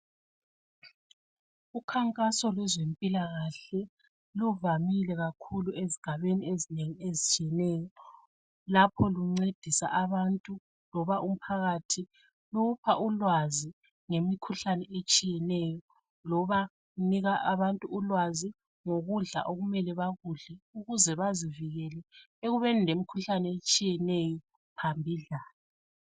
Ukhankaso lwezempilakahle luvamile kakhulu ezigabeni ezinengi ezitshiyeneyo. Lapho luncedisa abantu ,loba umphakathi, lupha ulwazi ngemikhuhlane etshiyeneyo loba lunika abantu ulwazi ngokudla okumele bakudle ukuze bazivikele ekubeni lemikhuhlane etshiyeneyo phambidlana.